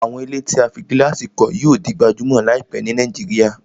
Àwọn ilé tí a fí gílàsì kọ́ yíò di gbajúmọ̀ láìpẹ́ ni Nàìjíríà